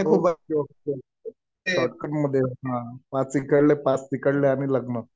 Okay okay okay. Shortcut मध्ये हा. पाच इकडले पाच तिकडले आणि लग्न.